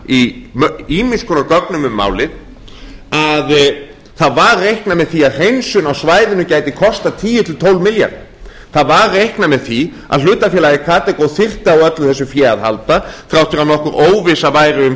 í ýmiss konar gögnum málið að það var reiknað með því að hreinsun á svæðinu gæti kostað tíu til tólf milljarða það var reiknað með því að hlutafélagið karþagó þyrfti á öllu þessu fé að halda þrátt fyrir að nokkur óvissa væri um